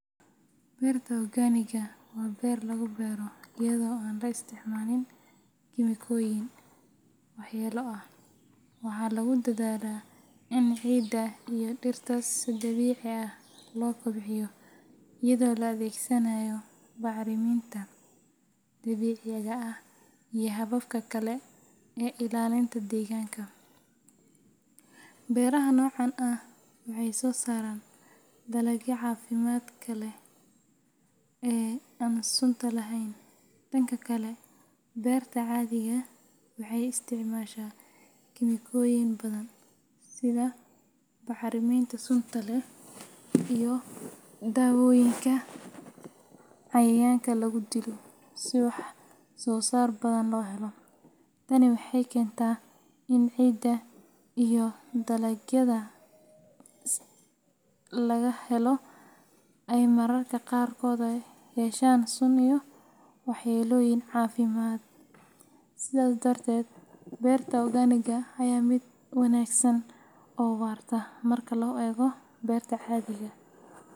Berta ogaaniga waa beer lagu beero iyadoo aan la isticmaalin kiimikooyin waxyeello leh. Waxaa lagu dadaalaa in ciidda iyo dhirta si dabiici ah loo kobciyo iyadoo la adeegsanayo bacriminta dabiiciga ah iyo hababka kale ee ilaalinta deegaanka. Beeraha noocan ah waxay soo saaraan dalagyada caafimaadka leh ee aan sunta lahayn. Dhanka kale, berta cadhiga waxay isticmaashaa kiimikooyin badan sida bacriminta sunta leh iyo dawooyinka cayayaanka lagu dilo si wax soo saar badan loo helo. Tani waxay keentaa in ciidda iyo deegaanka ay wasakhoobaan, sidoo kalena dalagyada laga helo ay mararka qaarkood yeeshaan sun iyo waxyeellooyin caafimaad. Sidaas darteed, berta ogaaniga ayaa ah mid wanaagsan oo waarta marka loo eego berta cadhiga.